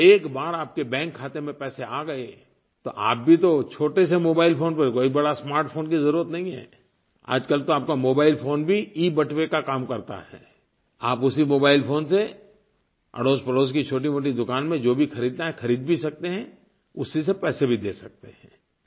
और एक बार आपके बैंक खाते में पैसे आ गए तो आप भी तो छोटे से मोबाइल फ़ोन पर कोई बड़ा स्मार्ट फोन की ज़रूरत नहीं हैं आजकल तो आपका मोबाइल फोन भी ईबटुवे का काम करता है आप उसी मोबाइल फोन से अड़ोसपड़ोस की छोटीमोटी दुकान में जो भी खरीदना है खरीद भी सकते हैं उसी से पैसे भी दे सकते हैं